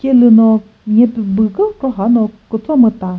celüno nyepü büh kükro khano kütso müta.